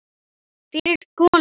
Fyrir konur.